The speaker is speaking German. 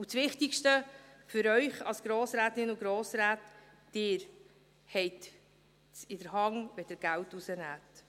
Und das Wichtigste für Sie als Grossrätinnen und Grossräte: Sie haben es in der Hand, wann Sie Geld herausnehmen.